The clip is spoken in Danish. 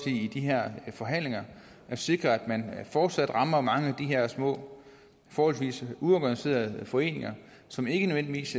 i de her forhandlinger at sikre at man fortsat rammer mange af de her små forholdsvis uorganiserede foreninger som ikke nødvendigvis